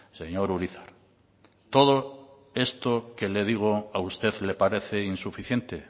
señor urizar todo esto que le digo a usted le parece insuficiente